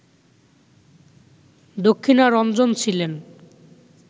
দক্ষিণারঞ্জন ছিলেন